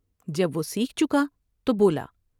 جب وہ سیکھ چکا تو بولا ۔